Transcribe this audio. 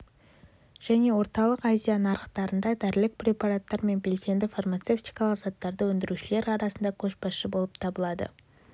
және орталық азия нарықтарында дәрілік препараттар мен белсенді фармацевтикалық заттарды өндірушілер арасында көшбасшы болып табылады